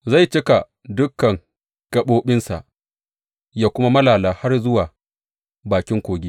Zai cika dukan gaɓoɓinsa, yă kuma malala har zuwa bakin kogi.